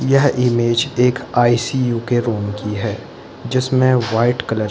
यह इमेज एक E. C. U. के रूम की है जिसमे वाइट कलर --